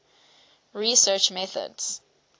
research methods